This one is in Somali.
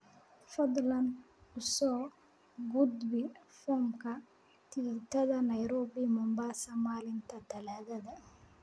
fadlan u soo gudbi foomka tikidhada nairobi mombasa maalinta talaadada